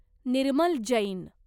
Nirmal Jain